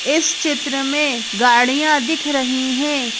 इस चित्र में गाड़ियां दिख रही हैं।